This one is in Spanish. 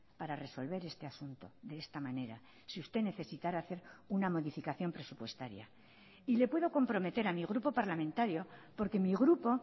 para resolver este asunto de esta manera si usted necesitara hacer una modificación presupuestaria y le puedo comprometer a mi grupo parlamentario porque mi grupo